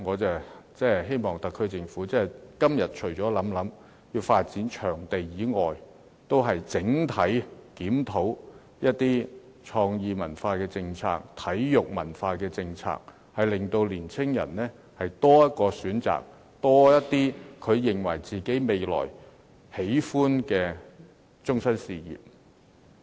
就此，我希望特區政府今天除了考慮發展場地外，還要檢討創意文化和體育文化的整體政策，令年青人有多一個選擇，未來有多些他們喜歡的終身事業可以選擇。